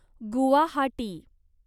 Guwahati